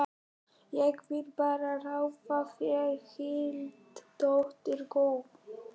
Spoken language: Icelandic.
Ég vil bara ráða þér heilt, dóttir góð.